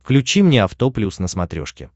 включи мне авто плюс на смотрешке